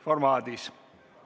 Istungi lõpp kell 15.03.